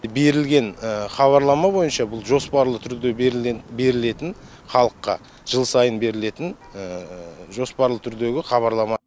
берілген хабарлама бойынша бұл жоспарлы түрде берілетін халыққа жыл сайын берілетін жоспарлы түрдегі хабарлама